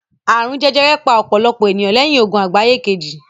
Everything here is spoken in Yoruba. Àrùn jẹjẹrẹ pa ọ̀pọ̀lọpọ̀ ènìyàn lẹ́yìn Ogun Àgbáyé Kejì